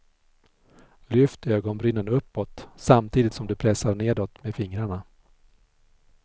Lyft ögonbrynen uppåt, samtidigt som du pressar nedåt med fingrarna.